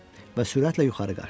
Və sürətlə yuxarı qaçdım.